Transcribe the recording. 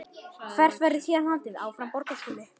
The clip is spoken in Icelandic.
Hvert verður héðan haldið?